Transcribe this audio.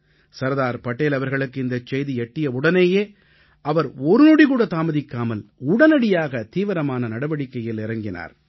சர்தார் படேல் அவர்களுக்கு இந்தச் செய்தி எட்டியவுடனேயே அவர் ஒரு நொடிகூட தாமதிக்காமல் உடனடியாக தீவிரமான நடவடிக்கையில் இறங்கினார்